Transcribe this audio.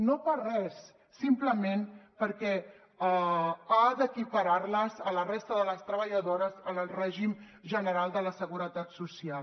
no per res simplement perquè ha d’equiparar les a la resta de les treballadores en el règim general de la seguretat social